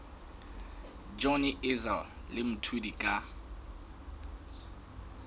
johnny issel le mthuli ka